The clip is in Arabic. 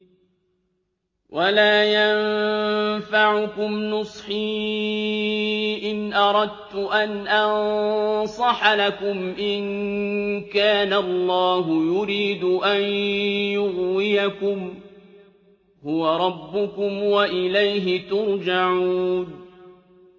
وَلَا يَنفَعُكُمْ نُصْحِي إِنْ أَرَدتُّ أَنْ أَنصَحَ لَكُمْ إِن كَانَ اللَّهُ يُرِيدُ أَن يُغْوِيَكُمْ ۚ هُوَ رَبُّكُمْ وَإِلَيْهِ تُرْجَعُونَ